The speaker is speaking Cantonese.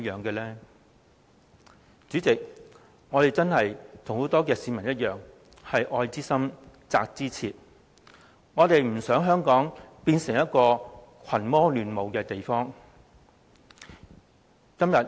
代理主席，我們與很多市民一樣，都是愛之深，責之切，我們不想香港變成一個群魔亂舞的地方。